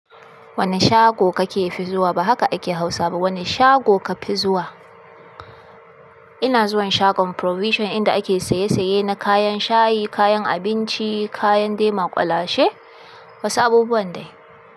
Wane shago kake fi zuwa? Ba haka ake Hausa ba. Wane shago ka fi zuwa? Ina zuwan shagon Provision inda ake saye saye na kayan shayi kayan abinci, kayan de makulashe wasu abubuwan de.